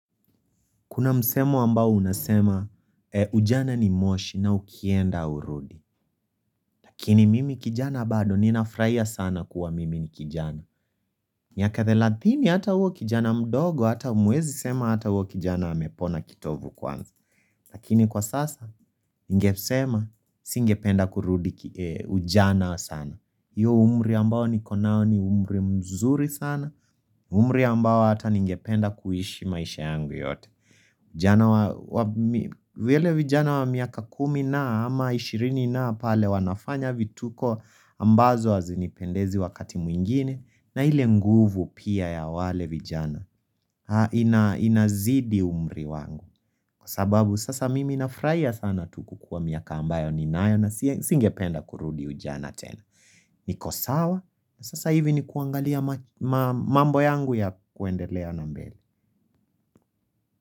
Kuna msemo ambao unasema ujana ni moshi na ukienda urudi. Kini mimi kijana bado ninafurahia sana kuwa mimi ni kijana. Miaka thelatini hata uo kijana mdogo, hata muwezi sema hata uo kijana hamepona kitovu kwanza. Lakini kwa sasa ingesema singependa kurudi ujana sana. Iyo umri ambao nikonao ni umri mzuri sana, umri ambao hata ningependa kuishi maisha yangu yote. Vile vijana wa miaka kumi na ama ishirini na pale wanafanya vituko ambazo wazinipendezi wakati mwingine na hile nguvu pia ya wale vijana inazidi umri wangu Kwa sababu sasa mimi nafraia sana tuku kwa miaka ambayo ninayo na singependa kurudi ujana tena niko sawa sasa hivi ni kuangalia mambo yangu ya kuendelea na mbele.